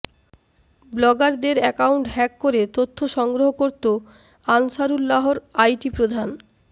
ব্লগারদের account hack করে তথ্য সংগ্রহ করত আনসারুল্লাহর আইটি প্রধান